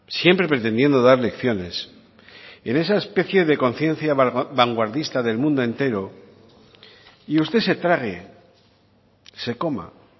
siempre pretendiendo dar lecciones en esa especie de conciencia vanguardista del mundo entero y usted se trague se coma